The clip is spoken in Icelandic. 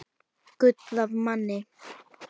Gull af manni.